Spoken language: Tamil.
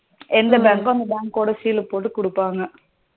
எந்த bank கோ அந்த bank கோடா சீல் போட்டு குடுப்பாங்க.